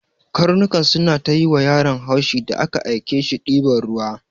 Karnukan suna ta yiwa yaron haushi da aka ake shi diban ruwa.